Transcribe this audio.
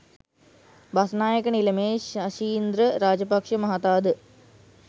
බස්නායක නිලමේ ශෂීන්ද්‍ර රාජපක්ෂ මහතා ද